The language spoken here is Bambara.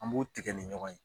An b'o tigɛ ni ɲɔgɔn ye